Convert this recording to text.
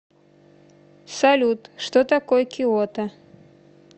салют что такое киото